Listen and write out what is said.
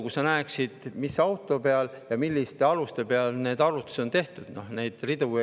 Kui sa näeksid, mis auto kohta ja millistel alustel need arvutused on tehtud, siis saaksid ise ka arvutada.